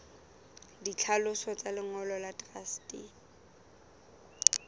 ditlhaloso tsa lengolo la truste